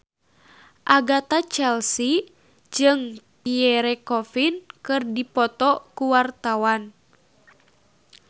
Agatha Chelsea jeung Pierre Coffin keur dipoto ku wartawan